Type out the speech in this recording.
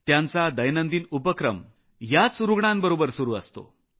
त्यांचा दिनक्रम याच रूग्णांबरोबर सुरू असतो